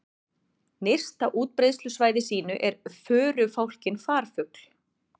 Nyrst á útbreiðslusvæði sínu er förufálkinn farfugl.